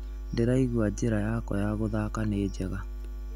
"Ndĩraigua njĩra yakwa ya gũthaka nĩ njega